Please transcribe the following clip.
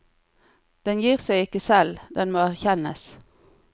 Den gir seg ikke selv, den må erkjennes.